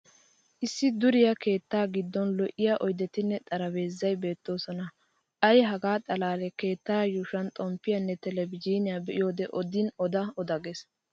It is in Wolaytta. Issi duriya keettaa giddon lo'iya oydetinne xarapheezzay beettoosona. Ay hegaa xallee keetta yuushuwa xomppiyanne televizhiiniya be'iyode odin oda oda ges.